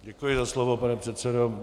Děkuji za slovo, pane předsedo.